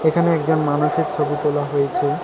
এখানে একজন মানুষের ছবি তোলা হয়েছে।